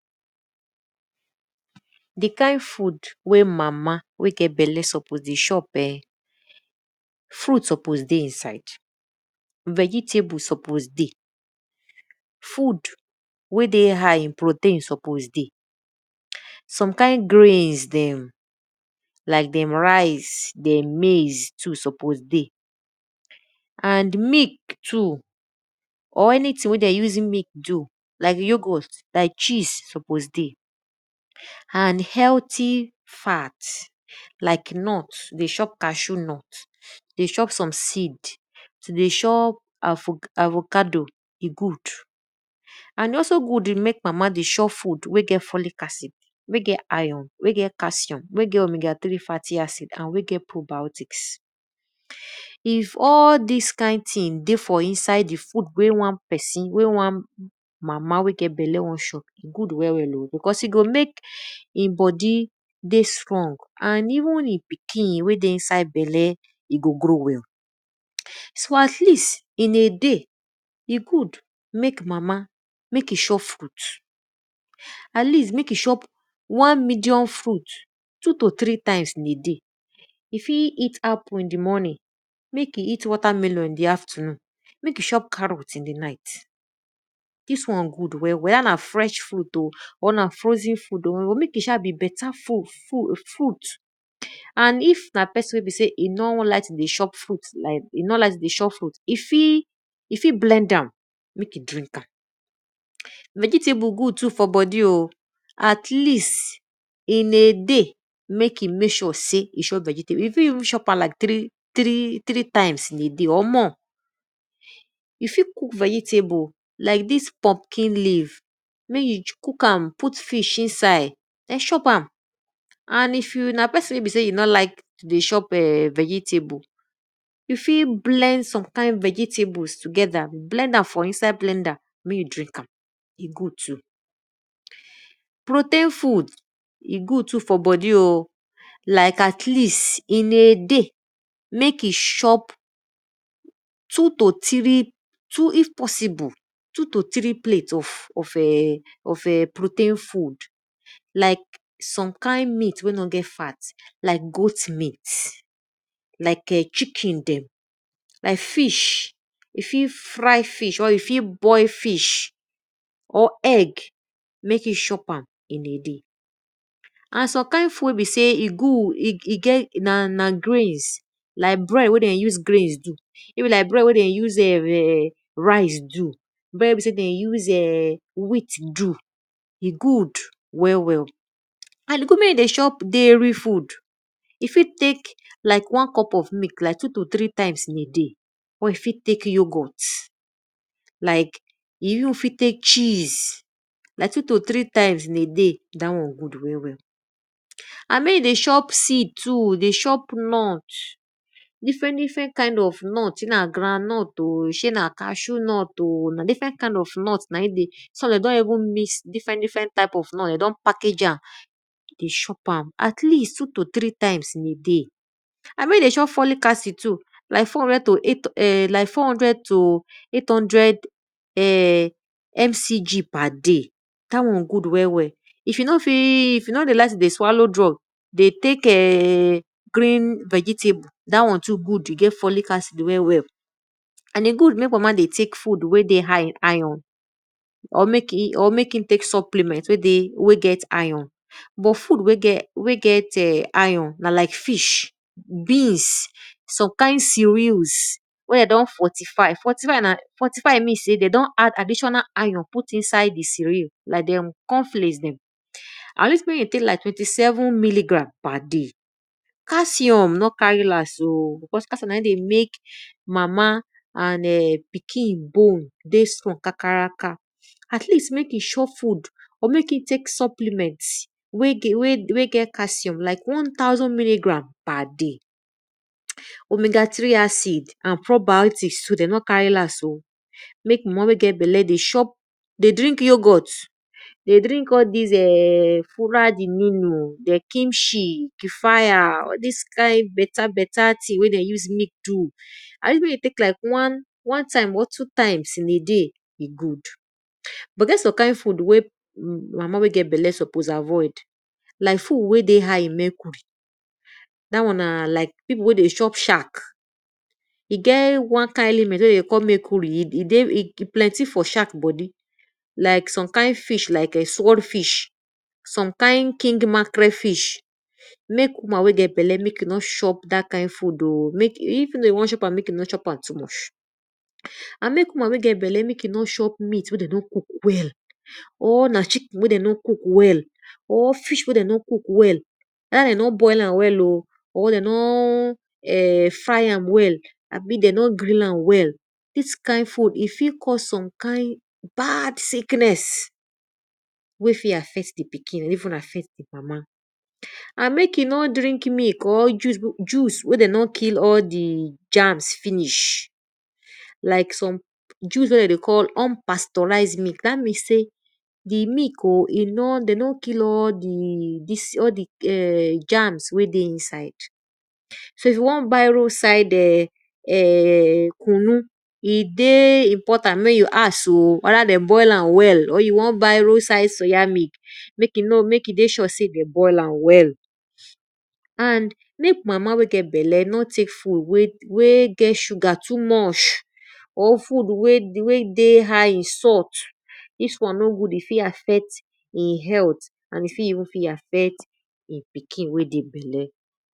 Di kind food wey mama wey get bela suppose dey chop[um], fruit suppose dey inside. Vegetable suppose dey, food wey dey hight in protein suppose dey, some kind greens dem, like dem rice, dem maize suppose dey, and milk too or anything wey dem use milk do like yogurt like cheese suppose dey and healthy fat like nut, dey chop cashew nut, dey chop avocado and also good mek mama dey chop food wey get folic acid, wey get iron, wey get calcium wey get omega three farty acid and we get probiotics. If all dis kind ting dey fr inside wey one pesin wey wan mama wey get bela wey wan chop, good well well o because e go mek di bodi dey strong and even e pikin wey dey inside bela, e go grow well. So at least in a day, e good mek mama mek e chop fruit, at least mek e chop wan medium fruit two to three time in a day. E fit eat apple in di morning, mek e eat water melon in di afternoon, mek e chop carrot in di night, dis wan good well well we na fresh food o, or na frozen food o, mek e sha be beta fruit. And if na pesin wey no like to dey chop fruit, e fit blend am mek e drink am. Vegetable good too for bodi o at least in a day, mek e mek sure sey e must chop vegetable. E fit even mek e chop am like three time in a day or more. E fit cook vegetable like dis pumpkin leave cook am put fish inside den chop am. And if na pesin wey be sey you nor like to dey chop[um]vegetable, you fit blend some kind vegetavles together, blend am for inside blender dey drink too. Rotein food e good too for bodu o, like at least in a day mek e chop too to three if possible two to three plate of protein food like soe kind meat wey no get fat like goat meat, like[um]chicken dem, like fish e fit fry fish, e fit boil fish or egg mek e chop am in a day. And some kind food wey be sey e good, na like grease do, bread wen be sey den use wheat do, e good well well. And e good mek you dey chop dairy food, e fit tek like one cup of milk like two to three time in a day or you fit tek yougort, like two to three times in a day, dat one good well well. Andmey e dey chop seed too dey chop nut, different different kind o nut, shey na groundnut o, shey na ccashew nut o, na different kind of nut na in dey. Some de don even mix different different type of nut dey package am. Mek chop am like two to three times in a day. And mek e dey chop folic acid too like four hundred to eight hundred MCG perday dat one good well well. If you nor dey like to dey swallow drug well well, tek vegetable, dat one get folic acid well well. And e good mek mama dey tek food wey get iron or mek e tek supplement maybe wey get iron but food wey get iron na like fish, beans, some kind cereals wey de don fortify, fortify mean sey de don add additiona iron put inside di cereal like dem corn flakes dem. At least mek e tek like twenty seven milligram per day. Calcium nor carry last o, cause calcium na di mek mama and pikin bone dey strong kakaraka. At least mek e chop food or mek e tek supplement wey get calcium like one thousand milligram per day. Omega three acid nor carry last o mek mama wey get bela dey drink yogurt, dey drink all dis[um]fula diminu, kimchi all dis kind beta beta thing wey dem use milk do and even de tey like one time or two time in a day. But e get some kind thing mek mama wey get bele suppose avoil like food wey dey high in mercury dat one na like pipu wey dey chop sharp, e get one kind element wey dey dey call mercury, e plenty for shark bodi, like some kind fish like sword fish, some kind fish king mackerel fish, mek woman wey get belle mek e no chop dat kind fo od oh even though e won chop am, mek e no chop am too much. And mek woman wey get belle mek e no chop met wey den no cook well, or na chicken wey de nor cook well, even though na fish wey den no cook well, weda de no bol am well oh or dey no fr am well, abi de no grill am wel, dis kind food fit cause some kind bad sickness wey fit affect di pkin and even affect di mama. And mek e nor drink milk or juice wey de nor kill all di germs finish like some juice wey de dey call unpasturise milk, dat mean sey di milk o, de no kill all di germs wey dey inside. So if you wan buy road side[um]kunnu, e dey important mey you ask oh weda dey boil am well, or you won buy road side soya milk, mek e dey sure sey dem boil am well. And mek mama wey get bela nor tek food wey get sugar too much, or food wey dey high in salt, dis one nor good, e fit affect e health and e fit even affet in pikin wen dey bela.